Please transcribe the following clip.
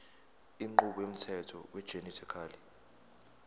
inqubo yomthetho wegenetically